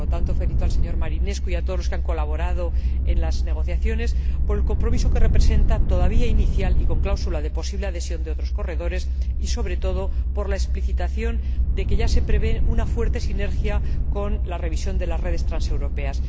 Por lo tanto, felicito al señor Marinescu y a todos los que han colaborado en las negociaciones, por el compromiso que representa, todavía inicial y con cláusula de posible adhesión de otros corredores, y sobre todo por la explicitación de que ya se prevé una fuerte sinergia con la revisión de las redes transeuropeas.